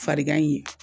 Farigan in ye